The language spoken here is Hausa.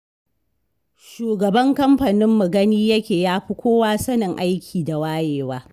Shugaban kamfaninmu gani yake yafi kowa sanin aiki da wayewa.